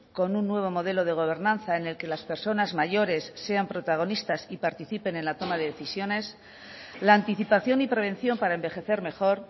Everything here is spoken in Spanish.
con un nuevo modelo de gobernanza en el que las personas mayores sean protagonistas y participen en la toma de decisiones la anticipación y prevención para envejecer mejor